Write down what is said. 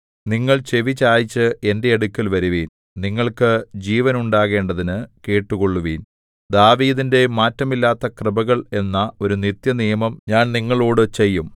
നിങ്ങൾ ചെവിചായിച്ച് എന്റെ അടുക്കൽ വരുവിൻ നിങ്ങൾക്ക് ജീവനുണ്ടാകേണ്ടതിനു കേട്ടുകൊള്ളുവിൻ ദാവീദിന്റെ മാറ്റമില്ലാത്തകൃപകൾ എന്ന ഒരു നിത്യ നിയമം ഞാൻ നിങ്ങളോടു ചെയ്യും